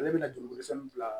Ale bɛna joli kosɔn bila